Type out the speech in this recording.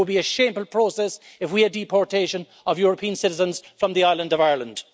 It will be a shameful process if we have deportation of European citizens from the island of Ireland.